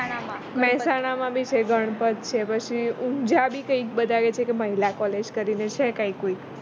મેહસાણા માં બી છે ગણપત છે પછી ઉંજા બી કઈ કે બધા કી છે કે મહિલા collage કરીને છે કોઈ કઈ કે